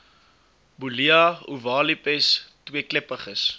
bullia ovalipes tweekleppiges